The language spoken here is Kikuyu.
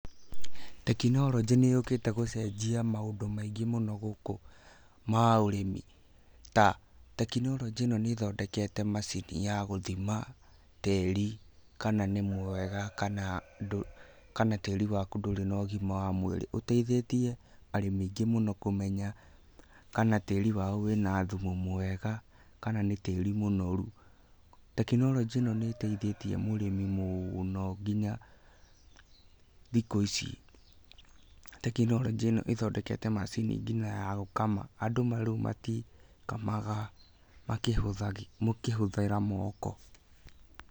Tekinoronjĩ nĩ yũkĩte gũcenjia maũndũ maingĩ mũno gũkú ma ũrími ta tekinorojĩ ĩno nĩ ĩthodekete macini ya gũthima tíri kana nĩ mwega kana tĩri waku ndũrĩ na ũgima wa mwĩri, ũteithĩtie arĩmi aingĩ mũno kũmenya kana tĩri wao wĩna thumu mwega kana nĩ tĩri mũnoru. Tekinoronjĩ ĩno ní ĩteithĩtie mũrĩmi mũno nginya thikũ ici, tekinoronjĩ ĩno ĩthodekete macini nginya ya gũkama andũ rĩu matikamaga mũkĩhũthĩra mooko.